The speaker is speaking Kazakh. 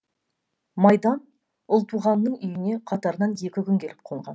майдан ұлтуғанның үйіне қатарынан екі күн келіп қонған